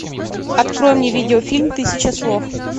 открой мне видеофильм тысяча слов